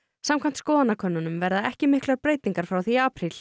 samkvæmt skoðanakönnunum verða ekki miklar breytingar frá því í apríl